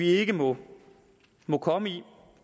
ikke må må komme